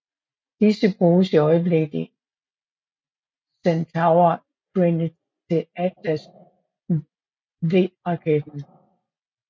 Disse bruges i øjeblikket i Centaur trinnet til Atlas V raketten